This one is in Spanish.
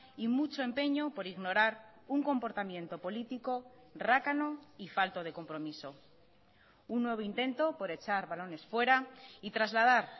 y mucho empeño por ignorar un comportamiento político rácano y falto de compromiso un nuevo intento por echar balones fuera y trasladar